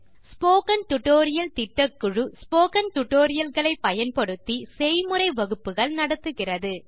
spoken tutorial திட்டக்குழு spoken tutorial களை பயன்படுத்தி செய்முறை வகுப்புகள் நடத்துகிறது